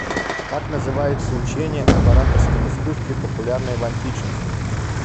как называется учение об ораторском искусстве популярное в античности